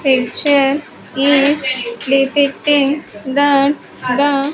Picture is depicting that the--